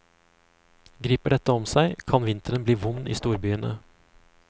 Griper dette om seg, kan vinteren bli vond i storbyene.